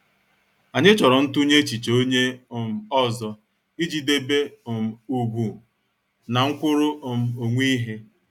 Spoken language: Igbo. Anyị chọrọ ntunye echiche onye um ọzọ ị ji debe um ugwu na nkwuru um onwe ihe.